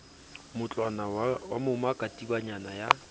mootlwana wa moma katibanyana ya